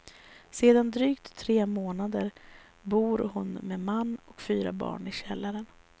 Sedan drygt tre månader bor hon med man och fyra barn i källaren.